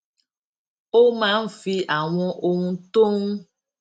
ó máa ń fi àwọn ohun tó ń